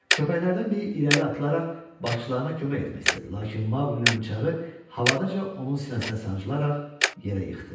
Köpəklərdən biri irəli atılaraq başçılarına kömək etmək istədi, lakin Maqlinin bıçağı havadaca onun sinəsinə sancılaraq yerə yıxdı.